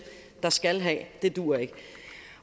der skal have duer ikke